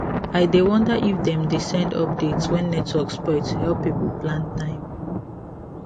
i dey wonder if dem dey send update when network spoil to help people plan time